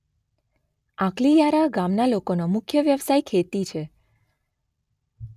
આંકલીયારા ગામના લોકોનો મુખ્ય વ્યવસાય ખેતી છે